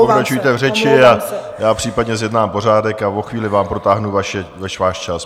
Pokračujte v řeči a já případně zjednám pořádek a o chvíli vám protáhnu váš čas.